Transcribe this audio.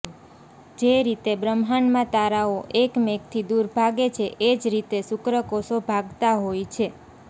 જે રીતે બ્રહ્માંડમાં તારાઓ એકમેકથી દુર ભાગે છે એ જ રીતે શુક્રકોષો ભાગતા હોય છે